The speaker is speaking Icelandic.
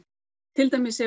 til dæmis